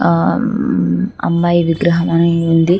ఆ అమ్మాయి విగ్రహం అని ఉంది.